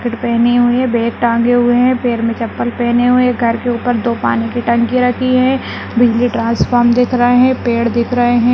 Jacket पहनी हुई है बैग टाँगे हुए है पैर में चप्पल पहने हुए हैं घर के ऊपर दो पानी की टंकी रखी है बिजली ट्रांसफॉर्म दिख रहे हैं पेड़ दिख रहे हैं।